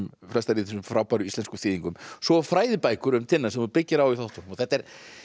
flestar í þessum frábæru íslensku þýðingum svo fræðibækur um Tinna sem þú byggir á í þáttunum þetta er